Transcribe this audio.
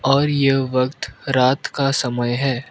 और यह वक्त रात का समय है।